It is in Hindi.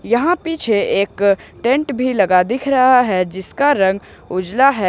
यहां पीछे एक टेंट भी लगा दिख रहा है जिसका रंग उजला है।